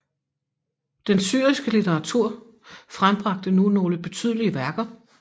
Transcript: Den syriske litteratur frembragte nu nogle betydelige værker